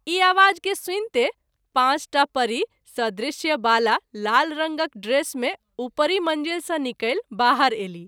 ई आबाज के सुनिते पाँच टा परि सदृश्य बाला लाल रंगक ड्रेस मे उपरि मंजिल सँ निकलि बाहर अयलीह।